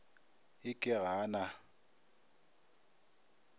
e ke ga a na